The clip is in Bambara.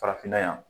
Farafinna yan